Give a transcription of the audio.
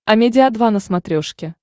амедиа два на смотрешке